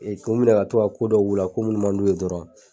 k'u minɛ ka to ka ko dɔw k'u la ko munnu man d'u ye dɔrɔn